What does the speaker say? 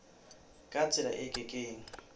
ka tsela e ke keng